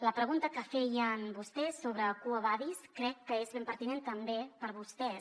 la pregunta que feien vostès sobre quo vadis crec que és ben pertinent també per a vostès